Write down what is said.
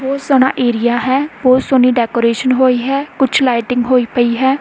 ਬਹੁਤ ਸੋਹਣਾ ਏਰੀਆ ਹੈ ਬਹੁਤ ਸੋਹਣੀ ਡੈਕੋਰੇਸ਼ਨ ਹੋਈ ਹੈ ਕੁਛ ਲਾਈਟਿੰਗ ਹੋਈ ਪਈ ਹੈ।